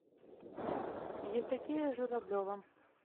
евдокия журавлева